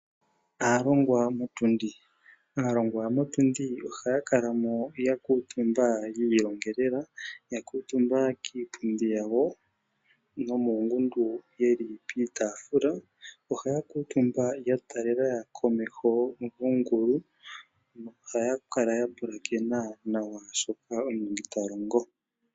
Aalongwa motundi, aalongwa motundi ohaa kalamo yakuutumba yiilongela ya kuutumba kiipundi yawo nomuungudu yeli piitaafula ohaa kuutumba yatalela komeho yongulu nohaya kala yapulakena nawa shoka omulongi talongo.